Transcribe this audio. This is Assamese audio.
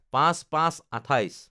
০৫/০৫/২৮